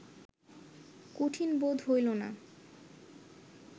কঠিন বোধ হইল না